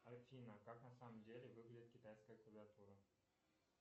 афина как на самом деле выглядит китайская клавиатура